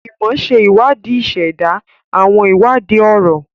Imọ ṣe iwadii iseda, awọn iwadii ọrọ.